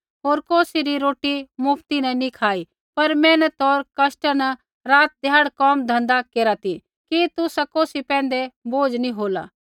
होर कौसी री रोटी मुफ्त नी खाई पर मेहनत होर कष्टा न रातीध्याड़ी कोमधँधा केरा ती कि तुसा कौसी पैंधै बोझ नी होला